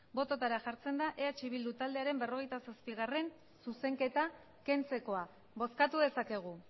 bototara jartzen da eh bildu taldearen berrogeita zazpigarrena zuzenketa kentzekoa bozkatu dezakegu